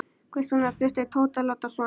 Hvers vegna þurfti Tóti að láta svona.